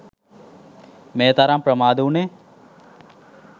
මේ තරම් ප්‍රමාද වුණේ.